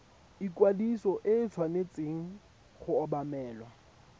ikwadiso e tshwanetse go obamelwa